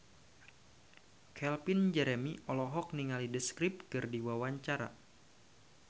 Calvin Jeremy olohok ningali The Script keur diwawancara